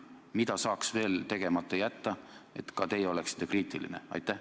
Mida saaks veel teha, et ka teie oleksite kriitiline?